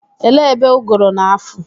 Elee ebe ụgụrụ na-afụ?